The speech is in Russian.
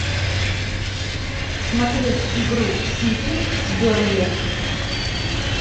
смотреть игру сити с бернли